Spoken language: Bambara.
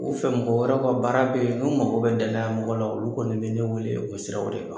U fɛmɔgɔ wɛrɛw ka baara bɛ yen, n'u mako bɛ danaya mɔgɔ la olu kɔni bɛ ne wele o siraw de kan.